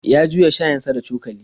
Ya juya shayinsa da cokali.